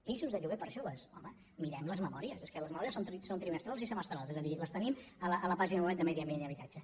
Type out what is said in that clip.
pisos de lloguer per a joves home mirem les memòries és que les memòries són trimestrals i semestrals és a dir les tenim a la pàgina web de medi ambient i habitatge